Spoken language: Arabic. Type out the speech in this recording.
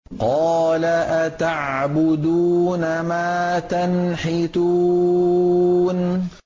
قَالَ أَتَعْبُدُونَ مَا تَنْحِتُونَ